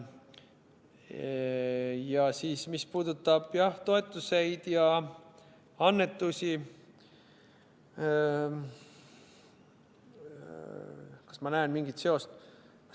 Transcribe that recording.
Ja mis puudutab toetuseid ja annetusi – kas ma näen mingit seost?